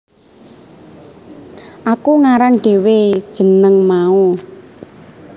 Aku ngarang dhewe jeneng mau